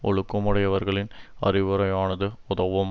ஒழுக்கம் உடையவர்களின் அறிவுரையானது உதவும்